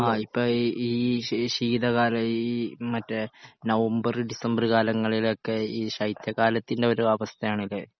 ആ ഇപ്പോ ഈ ശീ ശീതകാല ഈ മറ്റേ നവംബർ ഡിസംബർ കാലങ്ങളിലൊക്കെ ഈ ശൈത്യകാലത്തിൻ്റെ ഒരു അവസ്ഥയാണല്ലോ